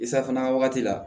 I safunɛ wagati la